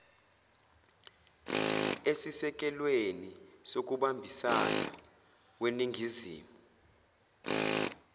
esisekelweni sokubambisana weningizimu